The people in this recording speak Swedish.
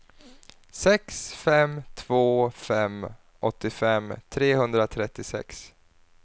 sex fem två fem åttiofem trehundratrettiosex